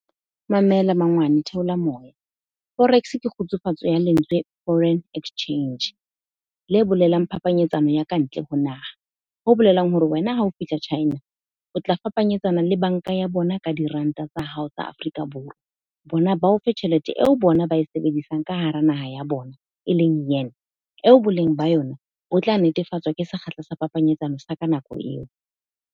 Mamela mangwane, theola moya. Forex ke kgutsufatso ya lentswe Foreign Exchange. Le bolelang phapanyetsano ya ka ntle ho naha. Ho bolelang hore wena ha ho fihla China, o tla fapanyetsana le bank-a ya bona ka di-rand-a tsa hao tsa Afrika Borwa. Bona ba o fe tjhelete eo bona ba e sebedisang ka hara naha ya bona. E leng yuan, eo boleng ba yona, bo tla netefatsa ke sekgahla sa phapanyetsano sa ka nako eo.